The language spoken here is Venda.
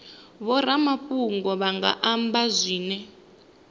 vhoramafhungo vha nga amba zwine